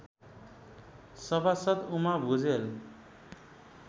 सभासद् उमा भुजेल